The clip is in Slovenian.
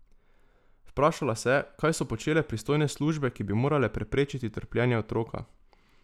Vprašala se je, kaj so počele pristojne službe, ki bi morale preprečiti trpljenje otroka.